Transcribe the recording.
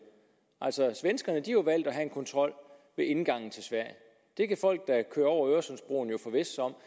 svenskerne jo valgt at have en kontrol ved indgangen til sverige det kan folk der kører over øresundsbroen forvisse sig om